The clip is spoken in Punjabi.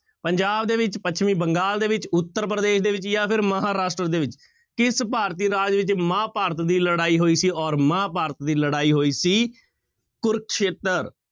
ਪੰਜਾਬ ਦੇ ਵਿੱਚ ਪੱਛਮੀ ਬੰਗਾਲ ਦੇ ਵਿੱਚ ਉੱਤਰ ਪ੍ਰਦੇਸ਼ ਦੇ ਵਿੱਚ ਜਾਂ ਫਿਰ ਮਹਾਂਰਾਸ਼ਟਰ ਦੇ ਵਿੱਚ ਕਿਸ ਭਾਰਤੀ ਰਾਜ ਵਿੱਚ ਮਹਾਂਭਾਰਤ ਦੀ ਲੜਾਈ ਹੋਈ ਸੀ ਔਰ ਮਹਾਂਭਾਰਤ ਦੀ ਲੜਾਈ ਹੋਈ ਸੀ ਕੁਰਕਸ਼ੇਤਰ।